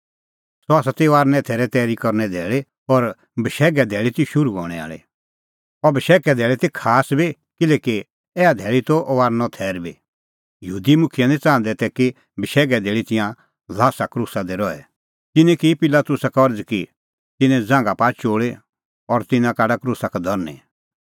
सह ती फसहे थैरे तैरी करने धैल़ी और बशैघे धैल़ी ती शुरू हणैं आल़ी अह बशैघे धैल़ी ती खास बी किल्हैकि ऐहा धैल़ी त फसहेओ थैर बी यहूदी मुखियै निं च़ाहंदै तै कि बशैघे धैल़ी तिंयां ल्हासा क्रूसा दी रहे तिन्नैं की पिलातुसा का अरज़ की कि तिन्नें ज़ांघा पाआ चोल़ी और तिन्नां काढा क्रूसा का धरनीं